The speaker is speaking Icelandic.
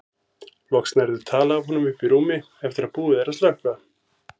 Loks nærðu tali af honum uppi í rúmi eftir að búið er að slökkva.